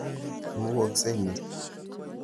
Imugoksei ni.